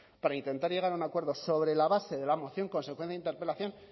para intentar llegar a un acuerdo sobre la base de la moción consecuencia de interpelación